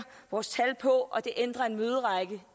vores tal på og det ændrer en møderække